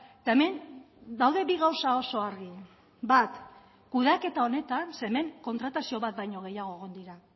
eta hemen daude bi gauza oso argi bat kudeaketa honetan ze hemen kontratazio bat baino gehiago egon dira